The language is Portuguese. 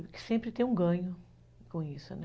E que sempre tem um ganho com isso, né?